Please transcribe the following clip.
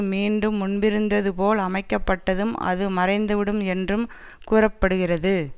மீண்டும் முன்பிருந்ததுபோல் அமைக்கப்பட்டதும் அது மறைந்துவிடும் என்றும் கூற படுகிறது